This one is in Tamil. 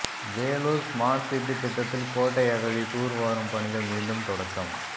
வேலூர் ஸ்மார்ட்சிட்டி திட்டத்தில் கோட்டை அகழி தூர்வாரும் பணிகள் மீண்டும் தொடக்கம்